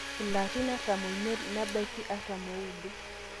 ilarin artam oimiet nebaiki artam ooudo